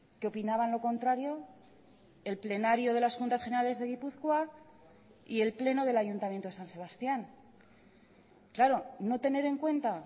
que opinaban lo contrario el plenario de las juntas generales de gipuzkoa y el pleno del ayuntamiento de san sebastián claro no tener en cuenta